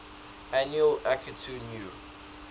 annual akitu new